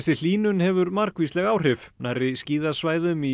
hlýnun hefur margvísleg áhrif nærri skíðasvæðum i